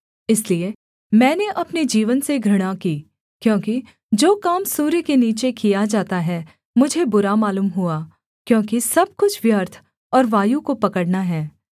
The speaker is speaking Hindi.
इसलिए मैंने अपने जीवन से घृणा की क्योंकि जो काम सूर्य के नीचे किया जाता है मुझे बुरा मालूम हुआ क्योंकि सब कुछ व्यर्थ और वायु को पकड़ना है